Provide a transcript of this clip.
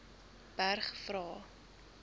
berg vra